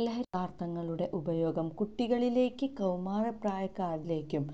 ലഹരി പദാര്ത്ഥങ്ങളുടെ ഉപയോഗം കുട്ടികളിലേക്കും കൌമാര പ്രായക്കാരിലേക്കും